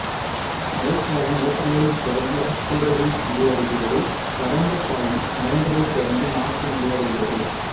மழைக்காலம் ஏப்ரலில் தொடங்கி அக்டோபரில் முடிவடைகிறது வறண்ட காலம் நவம்பரில் தொடங்கி மார்ச்சில் முடிவடைகிறது